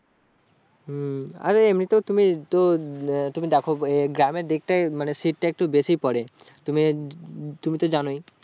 হু আর এমনি তে তুমি তো তুমি দেখো গ্রামের দিকটাই শীত তা একটু বেশি পরে তুমি তুমি তো জানোয়